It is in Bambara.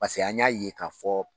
Paseke an y'a ye k'a fɔ